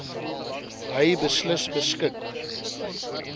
hy beslis beskik